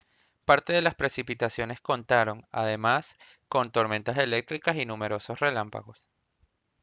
parte de las precipitaciones contaron además con tormentas eléctricas y numerosos relámpagos